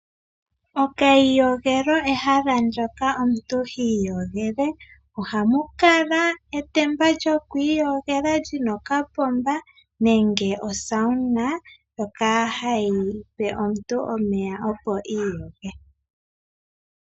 Okayiyogelo ehala lyoka omuntu hi iyogele, ohamu kala etemba lyoku iyogela lyina okapomba nenge osauna ndjoka hayipe omuntu omeya opo iyoge.